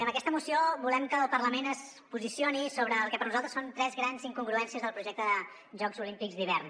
amb aquesta moció volem que el parlament es posicioni sobre el que per nosaltres són tres grans incongruències del projecte de jocs olímpics d’hivern